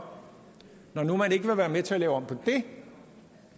når nu man ikke vil være med til at lave om på det